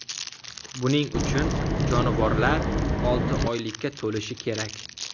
Buning uchun jonivorlar olti oylikka to‘lishi kerak.